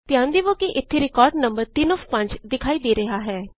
ਧਿਆਨ ਦੇਵੋ ਕਿ ਇੱਥੇ ਰਿਕਾਰਡ ਨੰਬਰ 3 ਓਐਫ 5 ਦਿਖਾਈ ਦੇ ਰਿਹਾ ਹੈ